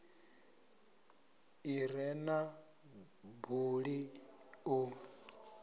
i re na buli ḓo